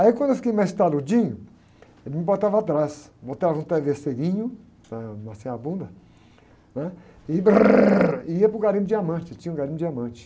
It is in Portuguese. Aí quando eu fiquei mais taludinho, ele me botava atrás, botava um travesseirinho, para amaciar a bunda, né? E, e ia para o garimpo de diamante, tinha um garimpo de diamante.